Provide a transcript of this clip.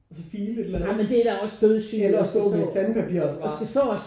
Og så file et eller andet eller stå med et sandpapir og så bare